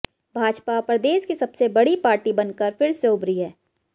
भाजपा प्रदेश की सबसे बड़ी पार्टी बनकर फिर से उभरी है